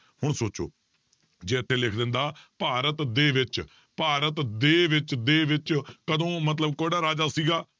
ਹੁਣ ਸੋਚੋ ਜੇ ਤੇ ਲਿਖ ਦਿੰਦਾ ਭਾਰਤ ਦੇ ਵਿੱਚ, ਭਾਰਤ ਦੇ ਵਿੱਚ ਦੇ ਵਿੱਚ ਕਦੋਂ ਮਤਲਬ ਕਿਹੜਾ ਰਾਜਾ ਸੀਗਾ